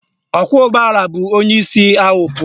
Ọkwọụgbọala bu onyeisi ahụ pụọ